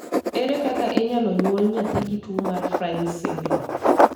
Ere kaka inyalo nyuol nyathi gi tuwo mar Fryns syndrome?